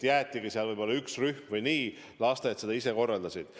Jäeti tööle võib-olla üks rühm või kuidas lasteaiad seda ise korraldasid.